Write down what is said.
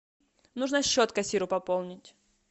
нужно счет кассиру пополнить